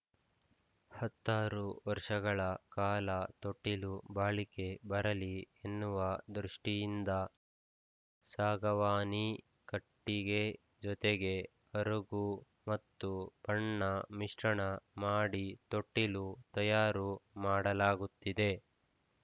ಹತ್ತಾರು ವರ್ಷಗಳ ಕಾಲ ತೊಟ್ಟಿಲು ಬಾಳಿಕೆ ಬರಲಿ ಎನ್ನುವ ದೃಷ್ಟಿಯಿಂದ ಸಾಗವಾನಿ ಕಟ್ಟಿಗೆ ಜತೆಗೆ ಅರಗು ಮತ್ತು ಬಣ್ಣ ಮಿಶ್ರಣ ಮಾಡಿ ತೊಟ್ಟಿಲು ತಯಾರು ಮಾಡಲಾಗುತ್ತಿದೆ